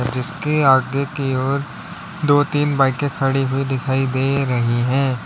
जिसके आगे की ओर दो तीन बाईके खड़ी हुई दिखाई दे रही है।